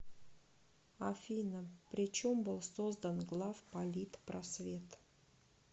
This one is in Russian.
афина при чем был создан главполитпросвет